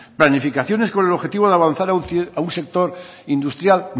planificaciones con el objetivo de avanzar a un sector industrial